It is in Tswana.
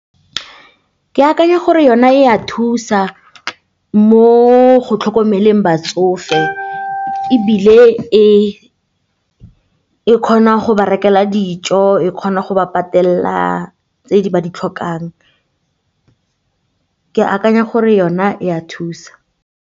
Ke akanya gore yona e a thusa mo go tlhokomeleng batsofe ebile e kgona go berekela dijo, e kgona go ba patelela tse ba di tlhokang, ke akanya gore yona e a thusa.